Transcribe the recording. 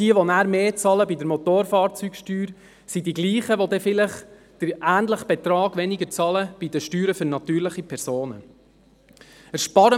Wer nachher mehr bezahlt bei der Motorfahrzeugsteuer, das sind die Gleichen, die dann vielleicht den ähnlichen Betrag bei den Steuern für natürliche Personen weniger bezahlen.